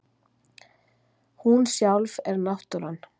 Hún sjálf er náttúran.